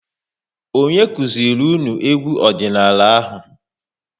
Onye kụziri unu egwu ọdịnala ahụ?